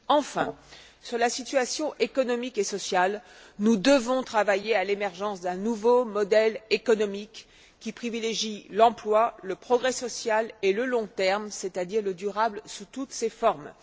Enfin, sur la situation économique et sociale, nous devons travailler à l'émergence d'un nouveau modèle économique, qui privilégie l'emploi, le progrès social et le long terme, c'est à dire le durable sous toutes ses formes.